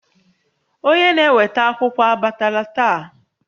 Onye na-eweta akwụkwọ abatala taa?